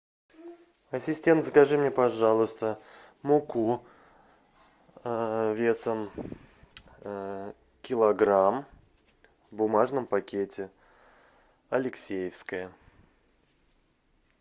ассистент закажи мне пожалуйста муку весом килограмм в бумажном пакете алексеевская